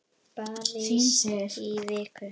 París í viku?